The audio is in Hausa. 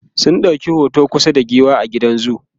sun ɗauki hoto kusa da giwa a gidan zoo